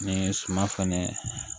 Ni ye suman fɛnɛ